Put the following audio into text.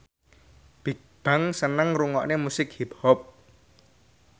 Bigbang seneng ngrungokne musik hip hop